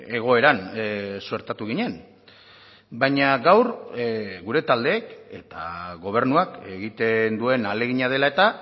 egoeran suertatu ginen baina gaur gure taldeek eta gobernuak egiten duen ahalegina dela eta